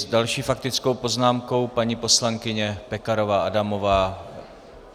S další faktickou poznámkou paní poslankyně Pekarová Adamová.